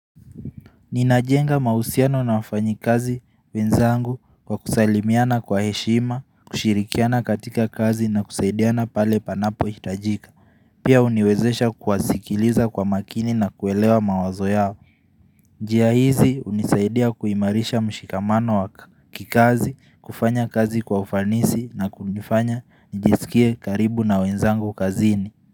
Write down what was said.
Ninajenga mahusiano na wafanya kazi wenzangu kwa kusalimiana kwa heshima, kushirikiana katika kazi na kusaidiana pale panapo hitajika. Pia huniwezesha kuwasikiliza kwa makini na kuelewa mawazo yao. Njia hizi hunisaidia kuimarisha mshikamano wa kikazi, kufanya kazi kwa ufanisi na kunifanya nijisikie karibu na wenzangu kazini.